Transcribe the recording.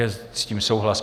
Je s tím souhlas.